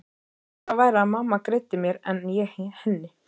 Skárra væri að mamma greiddi mér en ég henni.